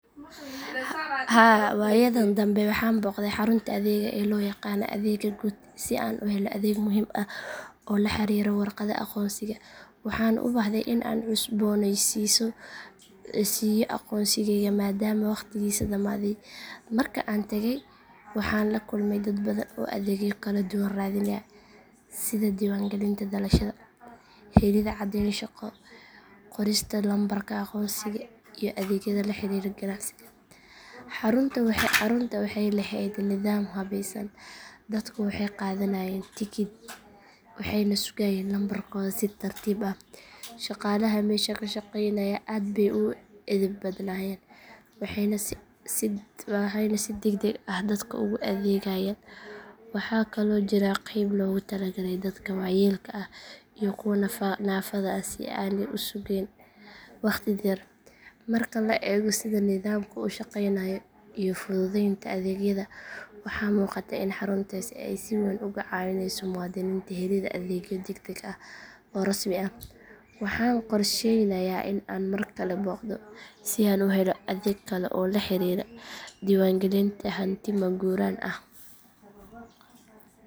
Haa waayadan dambe waxaan booqday xarunta adeegga ee loo yaqaan adeegga guud si aan u helo adeeg muhiim ah oo la xiriira warqadda aqoonsiga. Waxaan u baahday in aan cusboonaysiiyo aqoonsigeyga maadaama waqtigiisii dhammaaday. Marka aan tagay waxaan la kulmay dad badan oo adeegyo kala duwan raadinaya sida diiwaangelinta dhalashada, helidda caddeyn shaqo, qorista lambarka aqoonsiga, iyo adeegyada la xiriira ganacsiga. Xaruntu waxay lahayd nidaam habaysan, dadku waxay qaadanayeen tikid waxayna sugayeen lambarkooda si tartiib ah. Shaqaalaha meesha ka shaqeynaya aad bay u edeb badnaayeen waxayna si degdeg ah dadka ugu adeegayeen. Waxaa kaloo jiray qeyb loogu talagalay dadka waayeelka ah iyo kuwa naafada ah si aanay u sugayn waqti dheer. Marka la eego sida nidaamka u shaqeynayo iyo fududeynta adeegyada waxaa muuqata in xaruntaasi ay si weyn uga caawinayso muwaadiniinta helidda adeegyo degdeg ah oo rasmi ah. Waxaan qorsheynayaa in aan mar kale booqdo si aan u helo adeeg kale oo la xiriira diiwaangelinta hanti maguuraan ah.